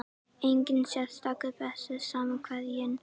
Enginn sérstakur Besti samherjinn?